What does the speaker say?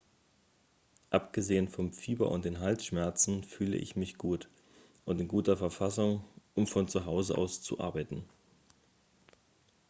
"""abgesehen vom fieber und den halsschmerzen fühle ich mich gut und in guter verfassung um von zuhause aus zu arbeiten.